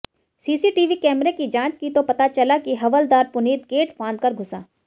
CCTV कैमरे की जांच की तो पता चला की हवलदार पुनीत गेट फांदकर घुसा